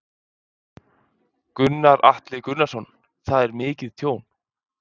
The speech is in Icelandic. Gunnar Atli Gunnarsson: Það er mikið tjón?